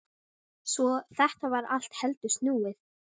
Svo þetta var allt heldur snúið.